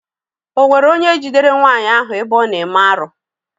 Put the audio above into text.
Ọ nwere onye jidere nwaanyị ahụ ebe ọ na-eme arụ?